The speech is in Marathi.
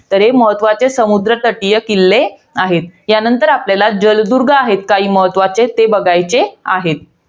तर हे महत्वाचे समुद्र तटीय किल्ले आहेत. यानंतर आपल्याला जलदुर्ग आहेत काही महत्वाचे. ते बघायचे आहेत.